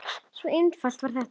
Svona einfalt var þetta.